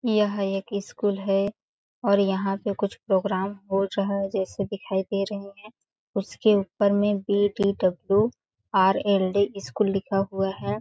यह एक स्कूल है और यहाँ पे कुछ प्रोग्राम हो रहा है जैसे दिखाई दे रहे है उसके ऊपर बी डी वर्ल्ड स्कूल लिखा हुआ है।